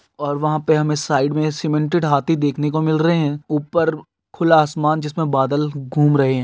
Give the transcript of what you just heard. और वहा पे हमे साइड मे सीमेंटेड हाथी देखने को मिल रहे है ऊपर खुला आसमान जिस मे बादल घूम रहे है।